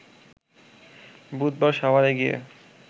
বুধবার সাভারে গিয়ে